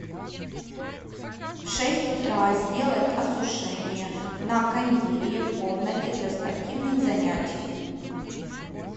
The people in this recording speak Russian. в шесть утра сделать осушение на кондее в комнате для спортивных занятий